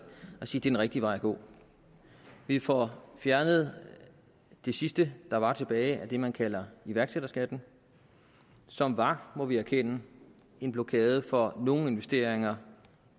og sige den rigtige vej at gå vi får fjernet det sidste der var tilbage af det man kalder iværksætterskatten som var må vi erkende en blokade for nogle investeringer